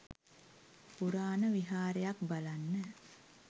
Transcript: පුරාණ විහාරයක් බලන්න.